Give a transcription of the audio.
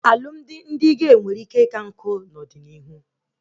Alụmdi ndị gey nwere ike ika nkụ n'ọdịnihu